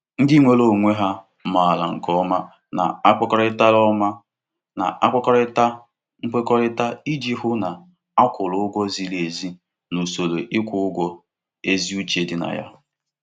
Ndị nweere onwe ha maara nke ọma na-akpakọrịtara ọma na-akpakọrịtara nkwekọrịta iji hụ na akwụrụ ụgwọ ziri ezi na usoro ịkwụ ụgwọ ezi uche dị na ya.